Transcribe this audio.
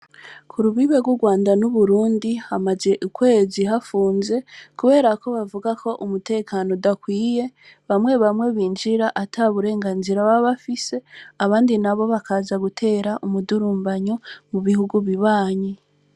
Ku rubibe rw' Urwanda n' Uburundi, hamaze ukwezi hapfunze, kubera ko bavuga ko umutekano udakwiye, bamwe bamwe ninjira ata burenganzira baba bafise, abandi nabo bakaza gutera umudurumbanyo mu bihugu bibanyi.